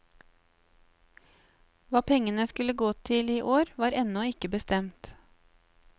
Hva pengene skulle gå til i år var ennå ikke bestemt.